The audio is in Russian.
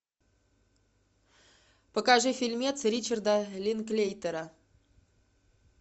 покажи фильмец ричарда линклейтера